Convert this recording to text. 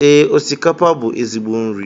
Ee, osikapa bú ezigbo nri